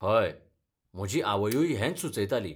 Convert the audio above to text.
हय, म्हजी आवयूय हेंच सुचयताली.